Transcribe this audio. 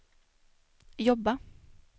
jobba